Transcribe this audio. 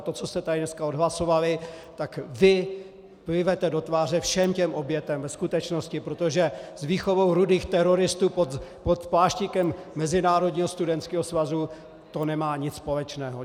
A to, co jste tady dneska odhlasovali, tak vy plivete do tváře všem těm obětem ve skutečnosti, protože s výchovou rudých teroristů pod pláštíkem mezinárodního studentského svazu to nemá nic společného.